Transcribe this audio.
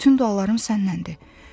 Bütün dualarım sənnəndir.